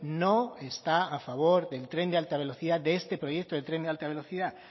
no está a favor del tren de alta velocidad de este proyecto de tren de alta velocidad